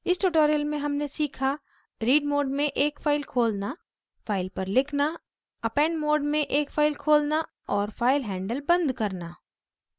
इस tutorial में हमने सीखा: